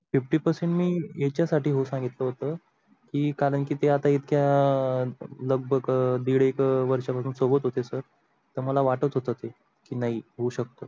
fifty percent मी याच्या साठी हो सांगितले होत कारण की ते इतक्या लगभग दीड एक वर्षा पासून सोबत होते sir तर मला वाटत होत ते की नाही हू शकतो.